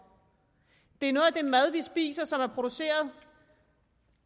det er noget af den mad vi spiser som er produceret